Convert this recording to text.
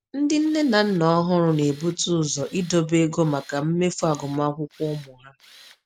Ndị nne na nna ọhụrụ na-ebute ụzọ idobe ego maka mmefu agụmakwụkwọ ụmụ ha.